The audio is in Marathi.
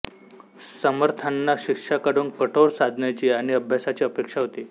समर्थांना शिष्याकडून कठोर साधनेची आणि अभ्यासाची अपेक्षा होती